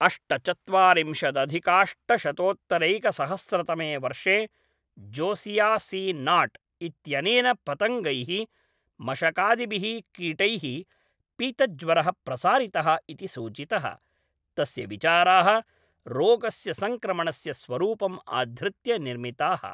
अष्टचत्वारिंशदधिकाष्टशतोत्तरैकसहस्रतमे वर्षे Josiah C Nott इत्यनेन पतङ्गैः मशकादिभिः कीटैः पीतज्वरः प्रसारितः इति सूचितः, तस्य विचाराः रोगस्य संक्रमणस्य स्वरूपम् आधृत्य निर्मिताः।